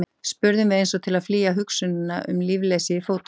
spurðum við, eins og til að flýja tilhugsunina um lífleysið í fótunum.